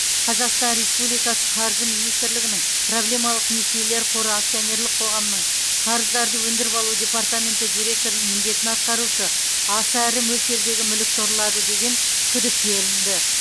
қазақстан республикасы қаржы министрлігінің проблемалық несиелер қоры акционерлік қоғамының қарыздарды өндіріп алу департаменті директорының міндетін атқарушы аса ірі мөлшердегі мүлікті ұрлады деген күдікке ілінді